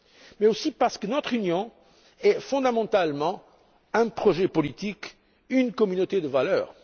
Mais aussi parce que notre union est fondamentalement un projet politique, une communauté de valeurs.